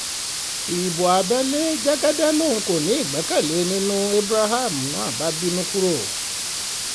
ibo abẹ́lé kẹ́kẹ́kẹ́ lòun kò ní ìgbẹ́kẹ̀lé nínú ẹ̀ abraham náà bínú kúrò